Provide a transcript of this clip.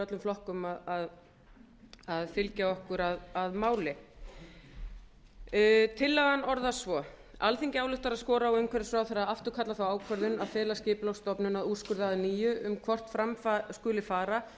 öllum flokkum að fylgja okkur að máli tillagan orðast svo alþingi ályktar að skora á umhverfisráðherra að afturkalla þá ákvörðun að fela skipulagsstofnun að úrskurða að nýju um hvort fram skuli fara